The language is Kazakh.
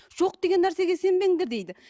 жоқ деген нәрсеге сенбеңдер дейді